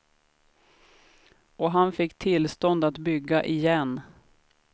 Och han fick tillstånd att bygga igen.